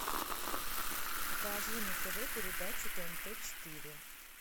покажи на тв передачу тнт четыре